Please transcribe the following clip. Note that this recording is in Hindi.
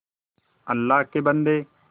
अल्लाह के बन्दे